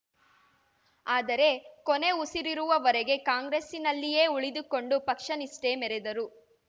ಆದರೆ ಕೊನೆ ಉಸಿರಿರುವವರೆಗೆ ಕಾಂಗ್ರೆಸ್ಸಿನಲ್ಲಿಯೇ ಉಳಿದುಕೊಂಡು ಪಕ್ಷ ನಿಷ್ಠೆ ಮೆರೆದರು